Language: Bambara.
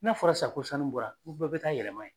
N'a fɔra sa ko sanu bɔra ko bɛɛ be taa yɛlɛma ye